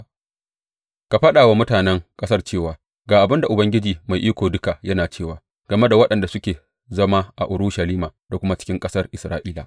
Ka faɗa wa mutanen ƙasar cewa, Ga abin Ubangiji Mai Iko Duka yana cewa game da waɗanda suke zama a Urushalima da kuma cikin ƙasar Isra’ila.